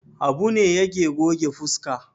Habu ne yake goge fuska.